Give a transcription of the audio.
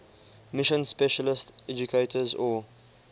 mission specialist educators or